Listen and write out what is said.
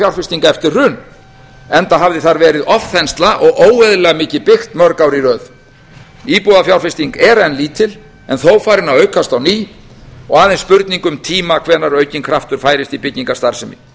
íbúðafjárfesting eftir hrun enda hafði þar verið ofþensla og óeðlilega mikið byggt mörg ár í röð íbúðafjárfesting er enn lítil en þó farin að aukast á ný og aðeins spurning um tíma hvenær aukinn kraftur færist í byggingastarfsemi